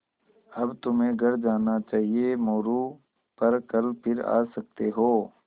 अब तुम्हें घर जाना चाहिये मोरू पर कल फिर आ सकते हो